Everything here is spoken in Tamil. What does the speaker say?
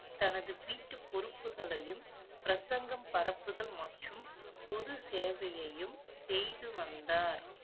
தனது வீட்டு பொறுப்புகளையும், பிரசங்கம் பரப்புதல் மற்றும் பொது சேவையையும் செய்து வந்தார்